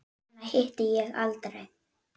Hana hitti ég aldrei.